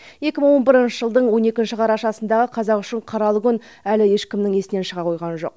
екі мың он бірінші жылдың он екінші қарашасындағы қазақ үшін қаралы күн әлі ешкімнің есінен шыға қойған жоқ